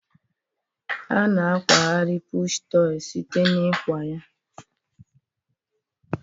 A na akwagharị pụshụ tọị site na ịkwa ya.